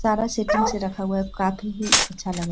सारा सेटिंग से रखा हुआ है काफी ही अच्‍छा लग --